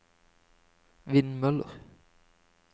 vindmøller